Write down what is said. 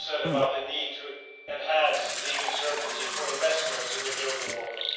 Nothing was said, either, about the need to enhance legal certainty for investments in the global order.